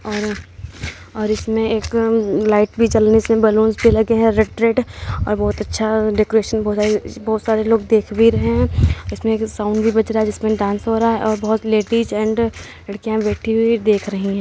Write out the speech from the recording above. और और इसमें एक लाइट भी जलने से बलूंस भी लगे हैं रेड रेड और बहुत अच्छा डेकोरेशन बहुत सारी बहुत सारे लोग देख भी रहे हैं। इसमें एक साउंड भी बज रहा है। जिसमें डांस हो रहा है और बहुत लेडीज एंड लड़कियाँ बैठी हुई देख रही हैं।